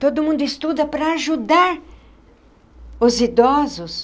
Todo mundo estuda para ajudar os idosos.